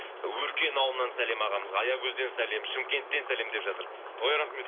өркен ауылынан сәлем ағамызға аягөзден сәлем шымкенттен сәлем деп жатыр ой рахмет